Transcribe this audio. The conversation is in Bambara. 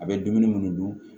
A bɛ dumuni minnu dun